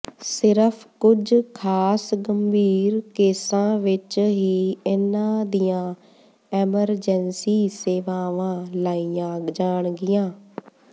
ਸਿਰਫ ਕੁਝ ਖਾਸ ਗੰਭੀਰ ਕੇਸਾਂ ਵਿਚ ਹੀ ਇੰਨ੍ਹਾਂ ਦੀਆਂ ਐਂਮਰਜੈਂਸੀ ਸੇਵਾਵਾਂ ਲਈਆਂ ਜਾਣਗੀਆਂ